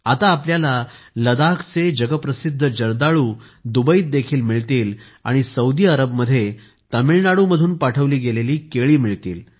आता आपल्याला लदाखचे जगप्रसिद्ध जर्दाळू दुबईत देखील मिळतील आणि सौदी अरबमध्ये तामिळनाडू मधून पाठवली गेलेली केळी मिळतील